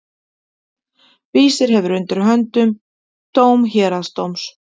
Vísir hefur undir höndum dóm héraðsdóms.